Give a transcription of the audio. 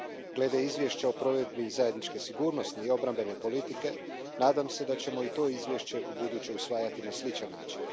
Glede Izvješća o provedbi zajedničke sigurnosne i obrambene politike, nadam se da ćemo i to izvješće ubuduće usvajati na sličan način.